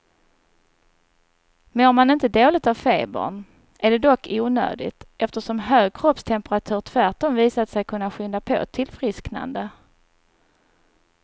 Mår man inte dåligt av febern är det dock onödigt, eftersom hög kroppstemperatur tvärtom visat sig kunna skynda på ett tillfrisknande.